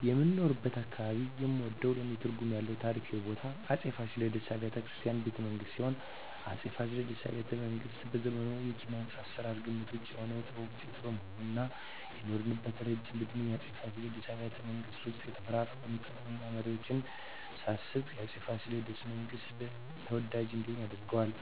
በምኖርበት አካባባቢ የምወደውና ለኔ ትርጉም ያለው ታሪካዊ ቦታ የአፄ ፋሲለደስ አብያተ ቤተመንግስት ሲሆን፣ የአፄ ፋሲለደስ አብያተ ቤተመንግስት በዘመኑ የኪነ-ህንጻ አሰራር ግምት ውጭ የሆነ የጥበብ ውጤት በመሆኑ እና የኖረበት እረጅም እድሜና የአፄ ፋሲለደስ አብያተ ቤተመንግስት ውስጥ የተፈራረቁትን ጥበበኛ መሪወች ሳስብ የአፄ ፋሲለደስ አብያተ- መንግስት ተወዳጅ እንዲሆን ያደርገዋል